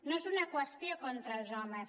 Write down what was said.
no és una qüestió contra els homes